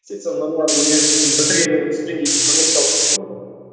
сөйтсем нұр мубарак университетін бітірген күні түстен кейін қызметке алып кетті ғой